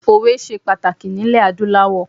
Òwe se pàtàkì ní ilè adúláwọ̀